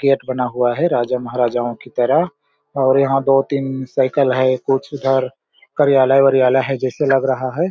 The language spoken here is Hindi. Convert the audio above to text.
गेट बना हुआ है राजा महराजा की तरह और यहाँ दो तीन साइकिल है कुछ इधर कार्यालय उरियालय जैसे लग रहा है।